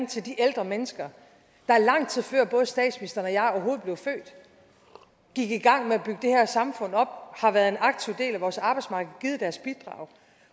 til de ældre mennesker der lang tid før både statsministeren og jeg overhovedet blev født gik i gang med at samfund op har været en aktiv del af vores arbejdsmarked og givet deres bidrag